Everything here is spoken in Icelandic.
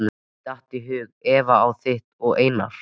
Mér datt í hug Eva á þitt og Einar